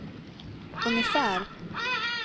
ungefär